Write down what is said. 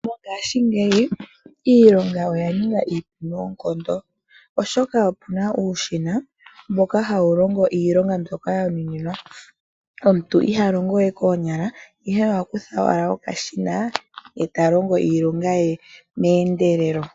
Mongaashingeyi iilonga oya ninga iipu noonkondo, oshoka opu na uushina mboka hawu longo iilonga mbyoka wa nuninwa, omuntu iha longo we koonyala, ihe oha kutha owala okashina e ta longo iilonga ye meendelelo.